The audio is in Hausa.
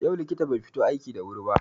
Yau likitan bai fito aiki da wuri ba.